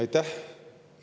Aitäh!